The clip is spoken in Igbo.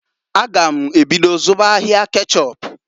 A gam ebido zụba ahịa kechọp.